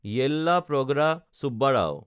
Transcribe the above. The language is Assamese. য়েল্লাপ্ৰগড়া চুব্বাৰাও